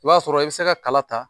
I b'a sɔrɔ i bɛ se ka kala ta